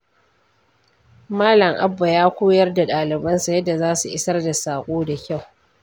Malam Abba ya koyar da dalibansa yadda za su isar da saƙo da kyau.